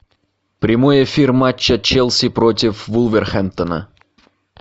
прямой эфир матча челси против вулверхэмптона